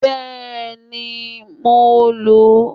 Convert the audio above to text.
Bẹ́ẹ̀ni, mo lò ó